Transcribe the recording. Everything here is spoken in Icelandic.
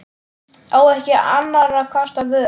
Á ekki annarra kosta völ.